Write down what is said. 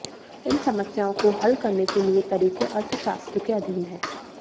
इन समस्याओं को हल करने के लिए तरीके अर्थशास्त्र के अधीन हैं